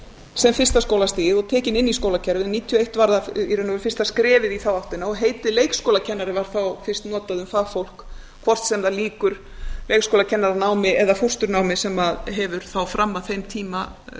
sem fyrsta skólastigið og tekinn inn í skólakerfið nítján hundruð níutíu og eitt var það í raun og veru fyrsta skrefið í þá áttina og heitið leikskólakennari var þá fyrst notað um fagfólk hvort sem það lýkur leikskólakennaranámi eða fóstrunámi sem hefur þá fram að þeim tíma